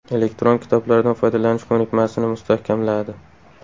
Elektron kitoblardan foydalanish ko‘nikmasini mustahkamladi.